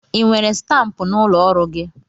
I nwere stampụ n'ụlọ ọrụ gị?